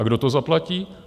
A kdo to zaplatí?